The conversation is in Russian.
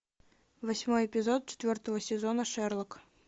восьмой эпизод четвертого сезона шерлок